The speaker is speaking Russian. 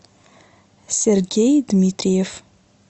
сергей дмитриев